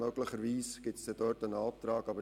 Möglicherweise wird es dazu einen Antrag geben.